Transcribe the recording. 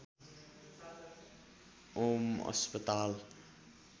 ॐ अस्पताल